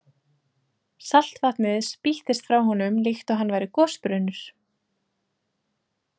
Saltvatnið spýttist frá honum líkt og hann væri gosbrunnur.